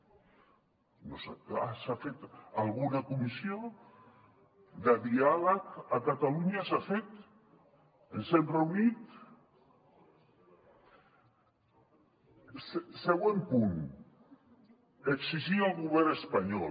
ah s’ha fet alguna comissió de diàleg a catalunya s’ha fet ens hem reunit següent punt exigir al govern espanyol